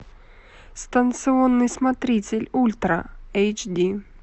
станционный смотритель ультра эйч ди